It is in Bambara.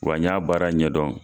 Wa n y'a baara ɲɛdɔn.